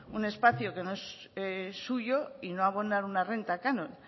un espacio que es no suyo y no abonar una renta canon